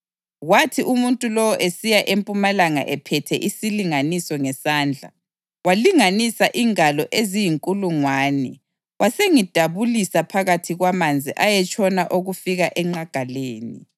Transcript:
Kwathi umuntu lowo esiya empumalanga ephethe isilinganiso ngesandla, walinganisa ingalo eziyinkulungwane wasengidabulisa phakathi kwamanzi ayetshona okufika enqagaleni.